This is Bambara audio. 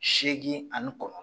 Seegin ani kɔnɔntɔ